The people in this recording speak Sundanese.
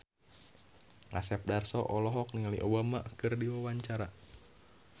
Asep Darso olohok ningali Obama keur diwawancara